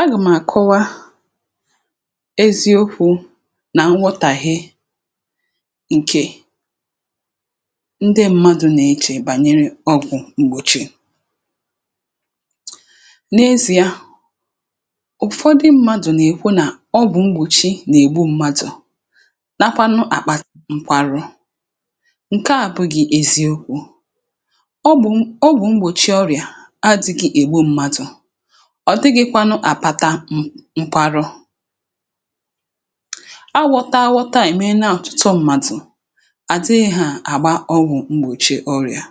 agà m̀ àkọwa, um eziokwu̇ nà nwotàghi ǹkè ndị mmadụ̀ nà-echè bànyere ọgwụ̀ gbòchi. n’ezi ya, ụ̀fọdụ mmadụ̀ nà-ekwu nà ọgwụ̀ mgbòchi nà-ègbu mmadụ̀, um nakwanụ àkpà mkparụ̇. ǹke a abụghị̇ eziokwu̇; ọgwụ̀ mgbòchi ọrịà adị̇gị̇ ègbu mmadụ̀, ọ̀ dịgịkwanụ àpataum nkwarụ. awụ̇ta awụ̇ta à ème na ọ̀chụtụ m̀madụ̀ àzịghị hȧ àgba ọgwụ̀ mgbòchi ọrịà,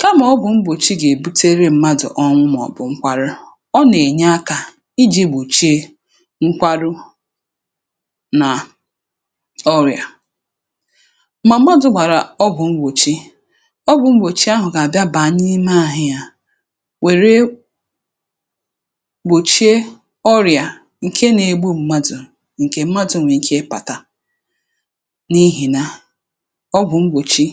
kamà ọ bụ̀ mgbòchi gà-èbutere mmadụ̀ ọnwụ, um màọ̀bụ̀ nkwarụ. ọ nà-ènye akȧ iji̇ gbòchie nkwarụ nà ọrịà; mà m̀madụ̀ gbàrà ọgwụ̀ mgbòchi, ọgwụ̀ mgbòchi ahụ̀ gà-àbịa bàa n’ime àhụ yȧ, wère gbòchie ọrịà ǹke nȧ-ėgbu m̀madụ̀, ǹke m̀madụ̀ nwèrè ike ịpàta. n’ihìnà ọgwụ̀ mgbòchi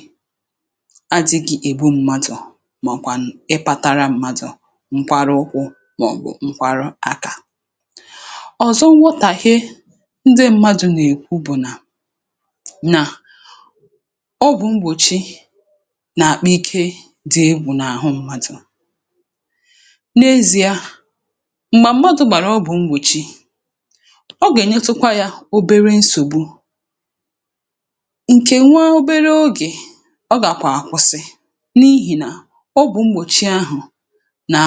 adị̇gị̇ ègbu m̀madụ̀, um màọ̀kwànụ̀ ịpȧtara m̀madụ̀ mkparụkwụ, màọ̀bụ̀ mkparụ aka ọ̀zọ. nwȧtàhe ndị m̀madụ̇ nà-èkwu bụ̀ nà nà ọgwụ̀ mgbòchi nà-àkpị ike dị ebu̇ n’àhụ mmadụ̀, um m̀gbà m̀madụ̇ gbàrà, ọ bụ̀ m̀gbòchi. ọ gànyetụkwa yȧ obere nsògbu ǹkè nwa, obere ogè ọ gàkwàkwụsị n’ihì nà ọ bụ̀ m̀gbòchi ahụ̀ nàà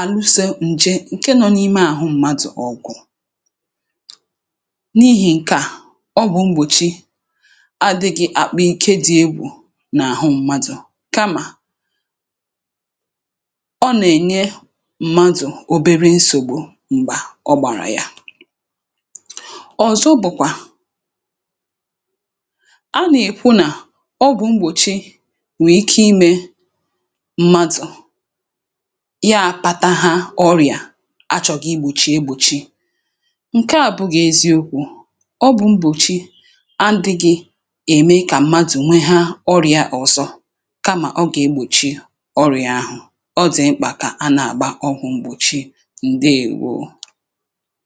àlụsė ǹje ǹke nọ n’ime àhụ mmadụ̀ ọgụ̀. um n’ihì ǹke à, ọ bụ̀ m̀gbòchi adị̇ghị̇ àkpụ̀ ǹke dị̇ egbù n’àhụ m̀madụ̇, kamà m̀madụ̀ obere nsògbu m̀gbà ọ gbàrà yȧ. ọ̀zọ bụ̀kwà a nà-èkwu nà ọgwụ̀ mgbòchi nwèe ike imė mmadụ̀ ya pȧtȧ ha ọrị̀à a chọ̀gà igbòchi egbòchi, ǹkè a bụ̇gà eziokwu̇. ọ bụ̀ mgbòchi adịghị̇ ème kà mmadụ̀ nwee ha ọrị̀ȧ ọzọ, kamà ọ gà-egbòchi ọrị̀ȧ ahụ̀. ọ dị̀ mkpà kà a nà-àgba ọgwụ̀. ǹdeèwo.